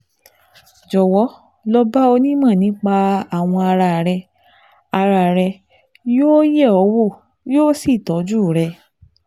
Jọ̀wọ́ lọ bá onímọ̀ nípa awọ ara rẹ; ara rẹ; yóò yẹ ọ wò, yóò sì tọ́jú rẹ